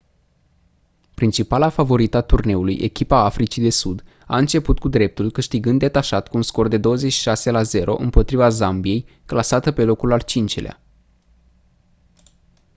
principala favorită a turneului echipa africii de sud a început cu dreptul câștigând detașat cu un scor de 26 la 0 împotriva zambiei clasată pe locul al 5-lea